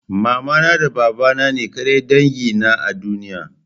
Mamana da babana ne ƙadai dangi na a duniya?